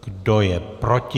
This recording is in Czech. Kdo je proti?